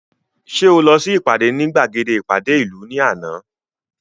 Ṣé o lọ sí ìpàdé ní gbàgede ìpàdé ìlú ní àná